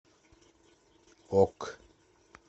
ок